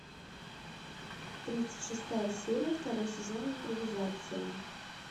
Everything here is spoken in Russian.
тридцать шестая серия второй сезон импровизация